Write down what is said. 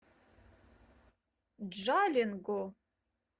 джалинго